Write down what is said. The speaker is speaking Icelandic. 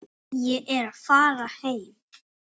Ég er að fara heim.